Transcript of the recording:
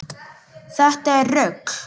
Þetta er rugl.